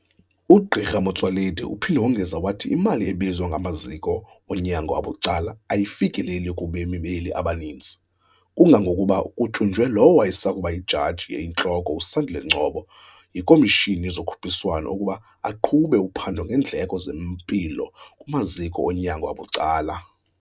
UGq Motsoaledi uphinde wongeza wathi imali ebizwa ngamaziko onyango abucala ayifikeleki kubemi beli abaninzi, kangangokuba kutyunjwe lowo wayesakuba yiJaji eyiNtloko uSandile Ngcobo yiKomishini yezoKhuphiswano ukuba aqhube uphando ngeendleko zempilo kumaziko onyango abucala.